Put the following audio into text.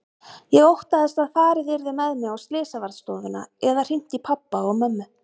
Ég óttaðist að farið yrði með mig á slysavarðstofuna eða hringt í pabba og mömmu.